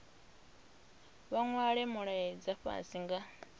vha nwale mulaedza fhasi nga